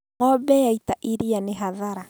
Ng'ombe yaita iria nĩ hathara